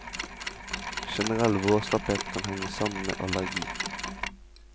Generell vårslapphet kan henge sammen med allergi.